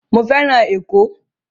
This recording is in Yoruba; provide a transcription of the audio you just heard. Mo fẹ́ràn Ẹ̀kọ́